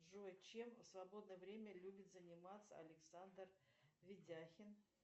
джой чем в свободное время любит заниматься александр ведяхин